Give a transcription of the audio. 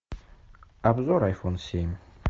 обзор айфон семь